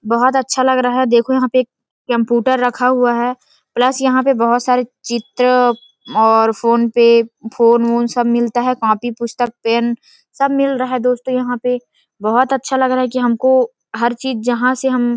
बहुत अच्छा लग रहा है देखो यहाँ पे कंप्यूटर रखा हुआ है प्लस यहाँ पे बहुत सारे चित्र और फोनेपे और फोन फून सब मिलता है कापी पुस्तक पेन सब मिल रहा है दोस्तों यहाँ पे बहुत अच्छा लग रहा है कि हमको हर चीज जहाँ से हम--